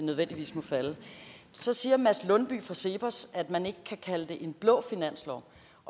nødvendigvis må falde så siger mads lundby hansen fra cepos at man ikke kan kalde det en blå finanslov